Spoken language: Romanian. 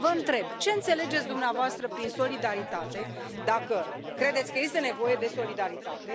Vă întreb ce înțelegeți dumneavoastră prin solidaritate și dacă credeți că este nevoie de solidaritate?